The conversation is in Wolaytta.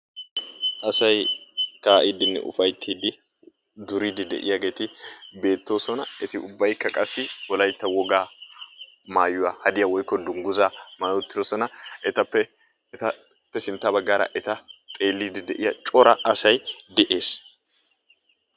Asay ka'iiddine ufayttidi duridi deiyageti beetosona. eti ubbaykka qassi wolaytta wogaa maayuwwa hadiya woykko dungguzza maayi-uttidosona. etappe etappe sintta baggaara eta xeelidi deiya cora asay de'ees.